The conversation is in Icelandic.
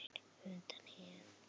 undan hindrun